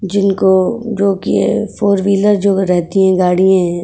जिनको जो कि फोर व्हीलर जो रहती है गाड़ीये --